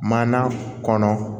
Mana kɔnɔ